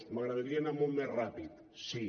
m’agradaria anar molt més ràpid sí